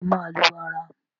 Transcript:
ṣe o má lù ara?